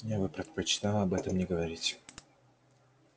но я бы предпочла об этом не говорить